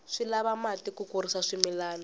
swi lava mati ku kurisa swimilana